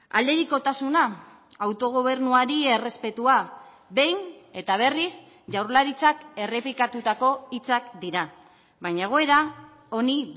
aldebikotasuna autogobernuari errespetua behin eta berriz jaurlaritzak errepikatutako hitzak dira baina egoera honi